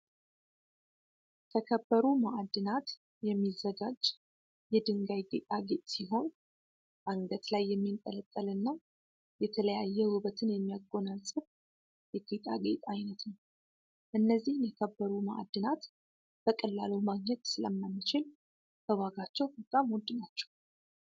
ከከበሩ ማዕድናት የሚዘጋጅ የድንጋይ ጌጣጌጥ ሲሆን አንገት ላይ የሚጠለጠልና የተለየ ውበትን የሚያጎናጽፍ የጌጣጌጥ አይነት ነው። እነዚህን የከበሩ ማዕድናት በቀላሉ ማግኘት ስለማንችል በዋጋቸው በጣም ውድ ናቸው።